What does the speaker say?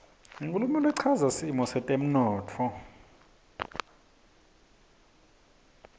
inkhulumo lechaza simo setemntfo